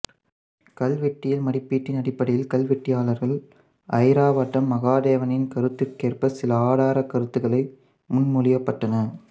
கல்வெட்டியல் மதிப்பீட்டின் அடிப்படையில் கல்வெட்டியலாளர் ஐராவதம் மகாதேவனின் கருத்திற்கேற்ப சில ஆதாரக் கருத்துக்கள் முன்மொழியப்பட்டன